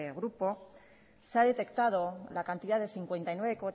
grupo se ha detectado la cantidad de cincuenta y nueve